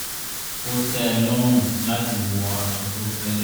ó tẹ́ ẹ lọ́rùn láti wọ aṣọ tó fẹ́lẹ́